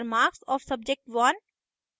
enter marks of subject1